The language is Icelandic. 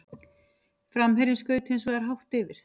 Framherjinn skaut hins vegar hátt yfir.